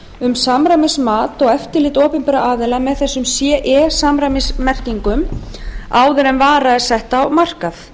um samræmismat og eftirlit opinberra aðila með ce samræmismerkingum áður en vara er sett á markað